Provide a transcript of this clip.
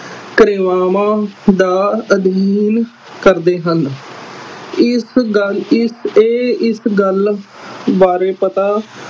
ਕਿਰਿਆਵਾ ਦਾ ਅਧੀਨ ਕਰਦੇ ਹਨ, ਇਸ ਗੱਲ ਇਹ ਇਸ ਗੱਲ ਬਾਰੇ ਪਤਾ